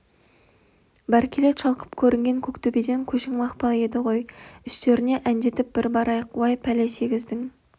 бәркелет шалқып көрінген көктөбеден көшің мақпал еді ғой үстеріне әндетіп бір барайық уай пәле сегіздің